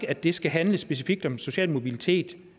at det skal handle specifikt om social mobilitet